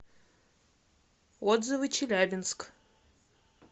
отзывы челябинск